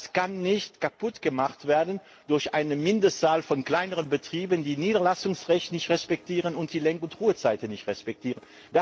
Das darf nicht kaputtgemacht werden durch eine geringe Zahl von kleineren Betrieben, die das Niederlassungsrecht nicht respektieren und die Lenk und Ruhezeiten nicht respektieren.